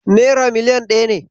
Nera million ɗaya ne.